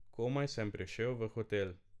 Komaj sem prišel v hotel.